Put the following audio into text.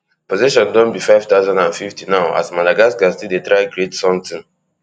possession don be five thousand and fifty now as madagascar still dey try to create sometin